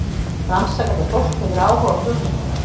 Rannsakandi fólk hefur áhuga á hugmyndum.